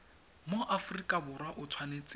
mo aforika borwa o tshwanetse